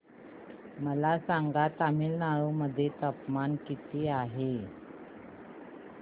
मला सांगा तमिळनाडू मध्ये तापमान किती आहे